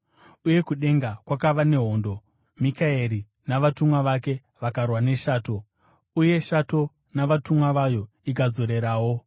Uye kudenga kwakava nehondo. Mikaeri navatumwa vake vakarwa neshato, uye shato navatumwa vayo ikadzorerawo.